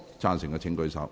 贊成的請舉手。